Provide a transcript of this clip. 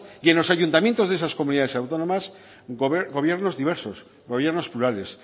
y en los ayuntamientos de esas comunidades autónomas gobiernos diversos gobiernos plurales